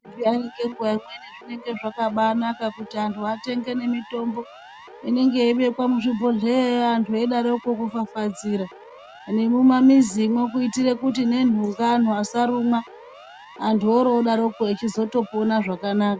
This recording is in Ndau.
Kudai nenguwa imweni zvinenge zvakabanaka kuti antu atenge nemitombo inenge yeibekwa muzvibhohleya antu eyidaroko kufafaidzira. Nemumamizimwo kuitire nhunga asarumwa, antu orodaroko echitopona zvakanaka.